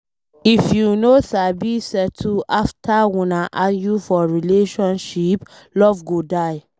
If you no sabi settle after una argue for relationship, love go die